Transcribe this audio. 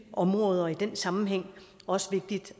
områder og i den sammenhæng også vigtigt